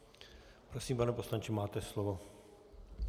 Prosím, pane poslanče, máte slovo.